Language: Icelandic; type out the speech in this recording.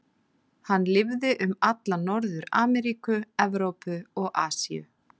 Hann lifði um alla Norður-Ameríku, Evrópu og Asíu.